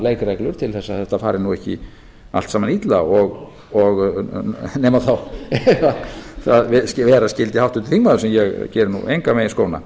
leikreglur til þess að þetta fari nú ekki allt saman illa nema þá ef vera skyldi háttvirtur þingmaður sem ég geri nú engan veginn skóna